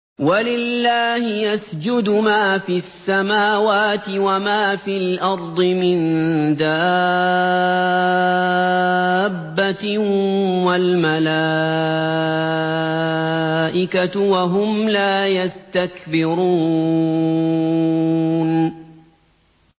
وَلِلَّهِ يَسْجُدُ مَا فِي السَّمَاوَاتِ وَمَا فِي الْأَرْضِ مِن دَابَّةٍ وَالْمَلَائِكَةُ وَهُمْ لَا يَسْتَكْبِرُونَ